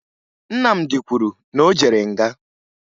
Nnamdị kwuru na o jere nga